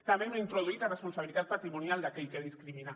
també hem introduït la responsabilitat patrimonial d’aquell que discrimina